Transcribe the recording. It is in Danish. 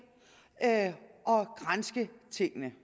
at granske tingene